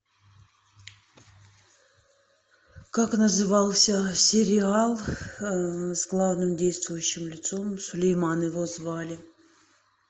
как назывался сериал с главным действующим лицом сулейман его звали